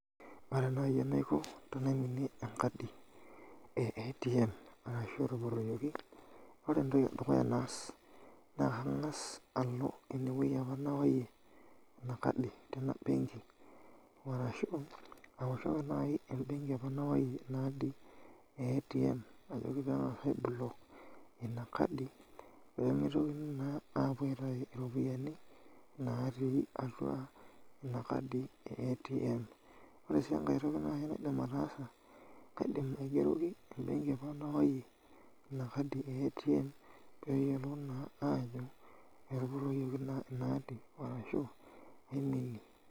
Ore naai enaiko tenaiminie enkadi e ATM arashu etupurroyioki, ore entoki edukuya naas naa kang'as alo ewueji apa nayaie ina kadi tina benki arashu aoshoki naai embenki ekuna wuei naadi e ATM ajoki pee eng'aas aiblock ina kadi pee mitoki naa aapuo aitayu iropiyiani naatii atua ina kadi e ATM ore sii enkae toki naaji naidim ataasa kaidim aigeroki embenki apa nayaiyie ina kadi e ATM pee eyiolou naa aajo etupurroyioki ina kadi arashu aiminie.